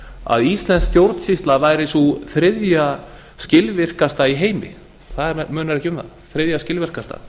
að íslensk stjórnsýsla væri sú þriðja skilvirkasta í heimi það munar ekki um það þriðja skilvirkasta